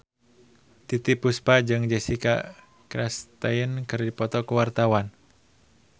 Titiek Puspa jeung Jessica Chastain keur dipoto ku wartawan